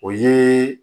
O ye